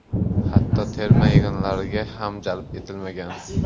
Hatto terma yig‘inlariga ham jalb etilmagan.